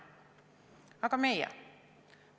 Aga meie?